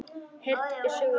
Heyrn er sögu ríkari.